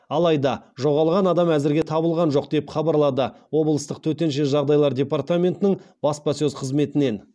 алайда жоғалған адам әзірге табылған жоқ деп хабарлады облыстық төтенше жағдайлар департаментінің баспасөз қызметінен